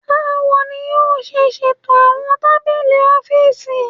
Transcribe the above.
Bawo ni yoo ṣe ṣeto awọn tabili ọfiisi?